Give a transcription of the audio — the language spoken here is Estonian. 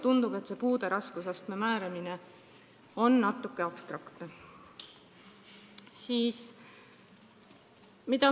Tundub, et puude raskusastme määramine toimub natuke abstraktselt.